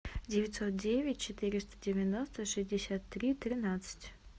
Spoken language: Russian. девятьсот девять четыреста девяносто шестьдесят три тринадцать